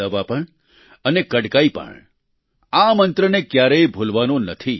દવા પણ અને કડકાઈ પણ આ મંત્રને ક્યારેય ભૂલવાનો નથી